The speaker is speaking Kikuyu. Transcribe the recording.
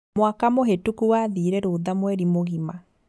Mwaka mũhĩtũku wathire rũtha mweri mũgima